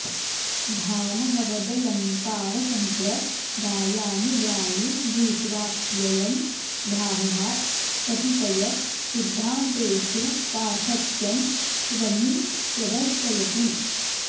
भामहवदलङ्कारसम्प्रदायानुयायी भूत्वाप्ययं भामहात् कतिपय सिद्धान्तेषु पार्थक्यं स्वस्मिन् प्रदर्शयति